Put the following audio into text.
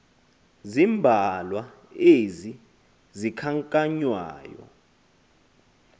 zimbalwa ezi zikhankanywayo